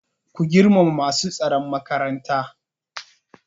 Ku girmama masu tsaron makaranta!